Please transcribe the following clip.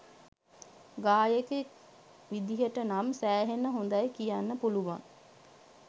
ගායකයෙක් විදිහට නම් සෑහෙන හොඳයි කියන්න පුළුවන්.